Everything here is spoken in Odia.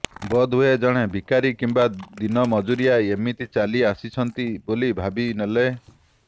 ବୋଧହୁଏ ଜଣେ ଭିକାରୀ କିମ୍ବା ଦିନ ମଜୁରିଆ ଏମିତି ଚାଲି ଆସିଛନ୍ତି ବୋଲି ଭାବି ନେଲେ